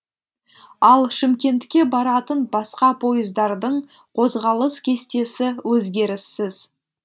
ал шымкентке баратын басқа пойыздардың қозғалыс кестесі өзгеріссіз